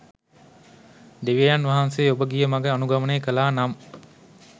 දෙවියන් වහන්සේ ඔබ ගිය මඟ අනුගමනය කළා නම්